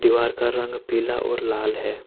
दीवार का रंग पीला और लाल है।